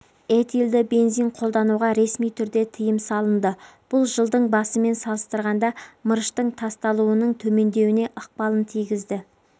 этилды бензин қолдануға ресми түрде тыйым салынды бұл жылдың басымен салыстырғанда мырыштың тасталуының төмендеуіне ықпалын тигізді